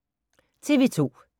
TV 2